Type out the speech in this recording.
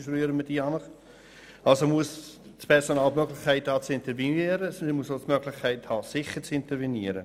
Das Personal muss die Möglichkeit haben sicher zu intervenieren.